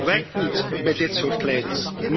werkt niet bij dit soort leiders.